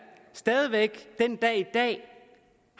stadig væk den dag i dag